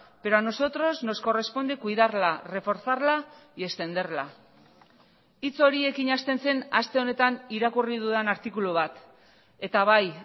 pero a nosotros nos corresponde cuidarla reforzarla y extenderla hitz horiekin hasten zen aste honetan irakurri dudan artikulu bat eta bai